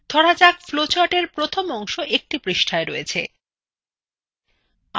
ধরুন flowchartএর প্রথম অংশ একটি পৃষ্ঠায় রয়েছে